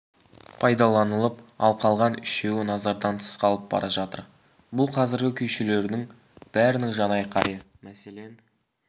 пайдаланылып ал қалған үшеуі назардан тыс қалып бара жатыр бұл қазіргі күйшілердің бәрінің жанайқайы мәселен